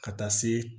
Ka taa se